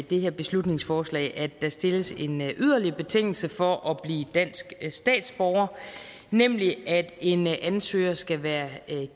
det her beslutningsforslag at der stilles en yderligere betingelse for at blive dansk statsborger nemlig at en ansøger skal være